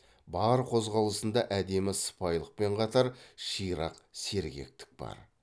бар қозғалысында әдемі сыпайылықпен қатар ширақ сергектік бар